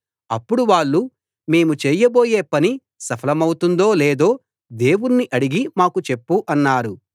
అప్పుడు వాళ్ళు మేము చేయబోయే పని సఫలమౌతుందో లేదో దేవుణ్ణి అడిగి మాకు చెప్పు అన్నారు